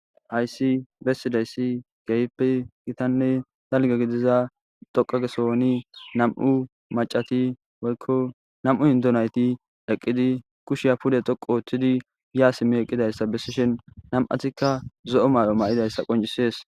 hayssi bessidayssi keyppe gitanne dalga gidiza doqagesohoni nam7u macati woykko nam7u hindonayti eqqidi kushiya pude toqu ooththidi yaa simmi eqqidayssa bessishen nam7atikka zo7o may7o ma7idayssa qoncisees